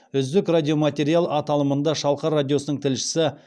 үздік радиоматериал аталымында шалқар радиосының тілшісі